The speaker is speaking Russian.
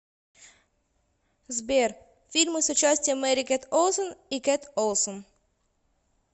сбер фильмы с участием мери кет олсон и кет олсон